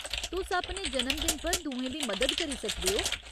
तुस अपने जन्मदिन पर दुएं दी मदद करी सकदे ओ।